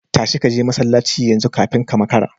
Tashi kaje masallaci yanzu kafin ka makara